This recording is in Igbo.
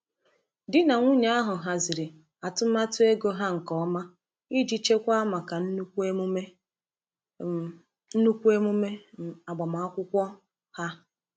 Di na nwunye ahụ haziri atụmatụ ego ha nke ọma iji chekwaa maka nnukwu emume um nnukwu emume um agbamakwụkwọ um ha.